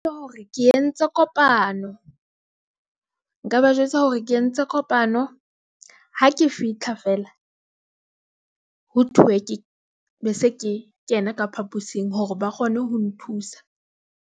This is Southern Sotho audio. Hore ke entse kopano nka ba jwetsa hore ke entse kopano. Ha ke fitlha feela ho thuwe ke, be se ke kena ka phapusing hore ba kgone ho nthusa.